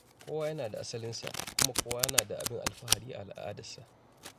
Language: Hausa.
Kowa yana da asalinsa, kuma kowa na da abin alfahari a al’adarsa.